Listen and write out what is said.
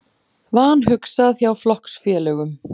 Vanhugsað hjá flokksfélögum